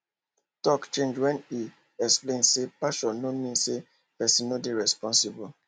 talk change when e explain say passion no mean say person no dey responsible